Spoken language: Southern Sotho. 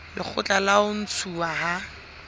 lekgotla la ho ntshuwa ha